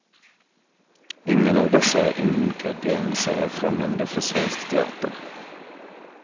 Ingen av dessa ingredienser är främmande för svensk teater.